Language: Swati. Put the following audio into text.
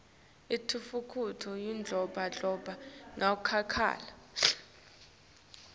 intfutfuko iyandlondlobala kakhulu